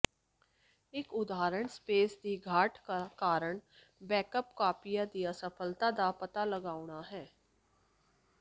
ਇੱਕ ਉਦਾਹਰਣ ਸਪੇਸ ਦੀ ਘਾਟ ਕਾਰਨ ਬੈਕਅਪ ਕਾਪੀਆਂ ਦੀ ਅਸਫਲਤਾ ਦਾ ਪਤਾ ਲਗਾਉਣਾ ਹੈ